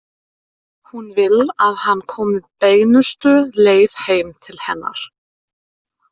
Hún vill að hann komi beinustu leið heim til hennar.